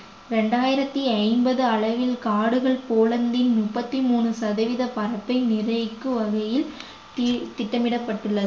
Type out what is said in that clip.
இரண்டாயிரத்தி ஐம்பது அளவில் காடுகள் போலந்தின் முப்பத்தி மூணு சதவீத பணத்தை நிர்ணயிக்கும் வகையில் தி~ திட்டமிடப்பட்டுள்ளது